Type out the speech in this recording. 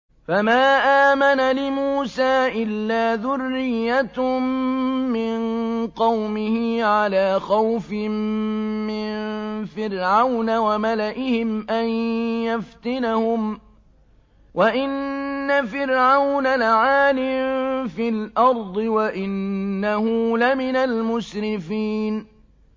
فَمَا آمَنَ لِمُوسَىٰ إِلَّا ذُرِّيَّةٌ مِّن قَوْمِهِ عَلَىٰ خَوْفٍ مِّن فِرْعَوْنَ وَمَلَئِهِمْ أَن يَفْتِنَهُمْ ۚ وَإِنَّ فِرْعَوْنَ لَعَالٍ فِي الْأَرْضِ وَإِنَّهُ لَمِنَ الْمُسْرِفِينَ